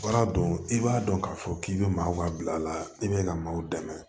Baara don i b'a dɔn k'a fɔ k'i bɛ maaw ka bila la i bɛ ka maaw dɛmɛ